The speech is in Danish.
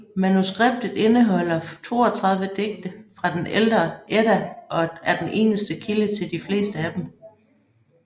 Manuskriptet indeholder 32 digte fra den ældre Edda og er den eneste kilde til de fleste af dem